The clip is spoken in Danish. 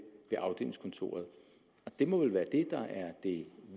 ved afdelingskontoret og det må vel være det der er det